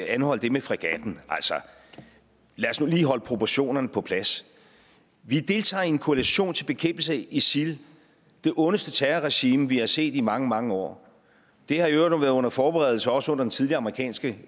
anholde det med fregatten altså lad os nu lige holde proportionerne på plads vi deltager i en koalition til bekæmpelse af isil det ondeste terrorregime vi har set i mange mange år det har i øvrigt været under forberedelse også under den tidligere amerikanske